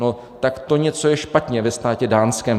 No tak to něco je špatně ve státě dánském.